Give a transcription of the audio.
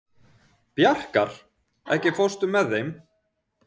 Bjarkar, ekki fórstu með þeim?